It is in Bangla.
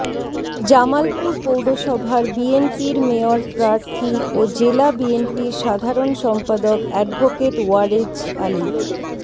জামালপুর পৌরসভার বিএনপির মেয়র প্রার্থী ও জেলা বিএনপির সাধারণ সম্পাদক অ্যাডভোকেট ওয়ারেছ আলী